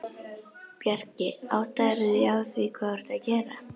Bjarki, áttarðu á því hvað þú ert að gera?